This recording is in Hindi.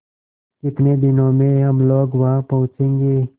कितने दिनों में हम लोग वहाँ पहुँचेंगे